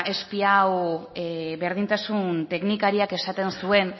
espiau berdintasun teknikariak esaten zuen